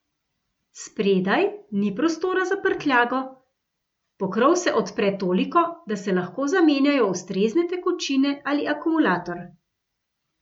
Spredaj, ni prostora za prtljago, pokrov se odpre toliko, da se lahko zamenjajo ustrezne tekočine ali akumulator.